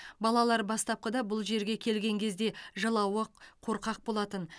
балалар бастапқыда бұл жерге келген кезде жылауық қорқақ болатын